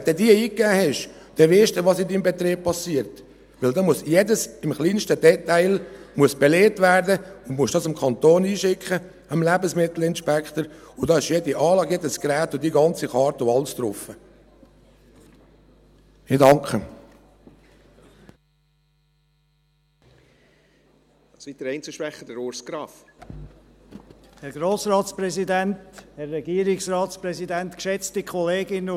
Wenn du diese eingegeben hast, weisst du dann, was in deinem Betrieb geschieht, weil da alles im kleinsten Detail belegt werden muss, und du musst dies an den Kanton schicken, an den Lebensmittelinspektor, und da ist jede Anlage, jedes Gerät, die ganze Karte und alles drauf.